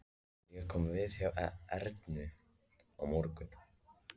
Ég kom við hjá Ernu í morgun.